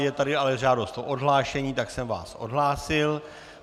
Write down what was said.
Je tady ale žádost o odhlášení, tak jsem vás odhlásil.